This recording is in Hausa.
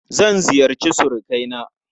Zan ziyarci surukaina.